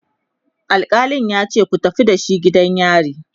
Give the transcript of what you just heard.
alkalin yace"ku tafi da shi gidan yari!"